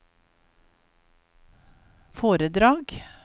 foredrag